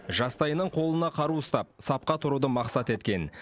жастайынан қолына қару ұстап сапқа тұруды мақсат еткен